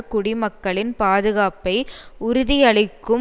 குடிமக்களின் பாதுகாப்பை உறுதியளிக்கும்